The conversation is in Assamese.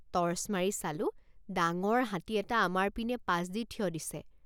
টৰ্চ মাৰি চালোঁ ডাঙৰ হাতী এটা আমাৰ পিনে পাছ দি থিয় দিছে।